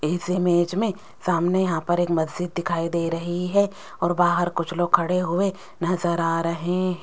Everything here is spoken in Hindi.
इस इमेज में सामने यहां पर एक मस्जिद दिखाई दे रही है और बाहर कुछ लोग खड़े हुए नजर आ रहे --